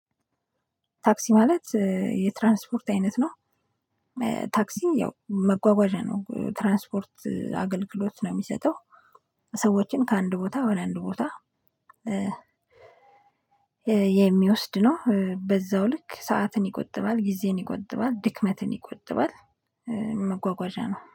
ታክሲ ማለት የትራንስፖርት አይነት ነው። ታክሲ ያው መጓጓዣ ነው የትራንስፖርት አገልግሎት ነው የሚሰጠው። ሰዎችን ከአንድ ቦታ ወደ አንድ ቦታ ለ የሚወስድ ነው። በዛው ልክ ሰዓትን ይቆጥባል ጊዜን ይቆጥባል ድክመትን ይቆጥባል። መጓጓዣ ነው